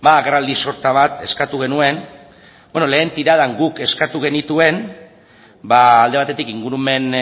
agerraldi sorta bat eskatu genuen bueno lehen tiradan guk eskatu genituen alde batetik ingurumen